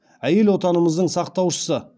әйел отанымыздың сақтаушысы